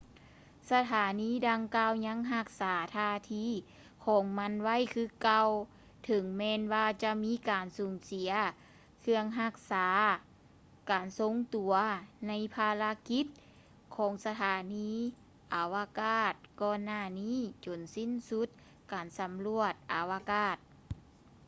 ສະຖານີດັ່ງກ່າວຍັງຮັກສາທ່າທີຂອງມັນໄວ້ຄືເກົ່າ ເຖິງແມ່ນວ່າຈະມີການສູນເສຍເຄື່ອງຮັກສາການຊົງຕົວໃນພາລະກິດຂອງສະຖານີອາວະກາດກ່ອນຫນ້ານີ້ຈົນສິ້ນສຸດການສຳຫຼວດອາວະກາດ